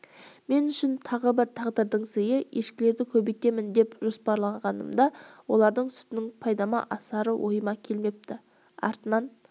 мен үшін тағы бір тағдырдың сыйы ешкілерді көбейтемін деп жоспарлағанымда олардың сүтінің пайдама асары ойыма келмепті артынан